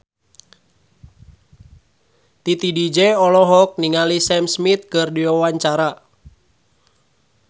Titi DJ olohok ningali Sam Smith keur diwawancara